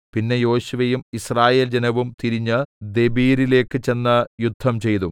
പിന്നെ യോശുവയും യിസ്രായേൽ ജനവും തിരിഞ്ഞ് ദെബീരിലേക്ക് ചെന്ന് യുദ്ധംചെയ്തു